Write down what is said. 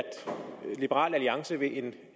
liberal alliance vil have